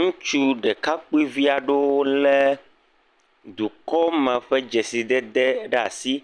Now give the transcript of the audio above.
Ŋutsu ɖekakpuivi aɖewo lé dukɔ ma ƒe dzesi dede ɖe asi,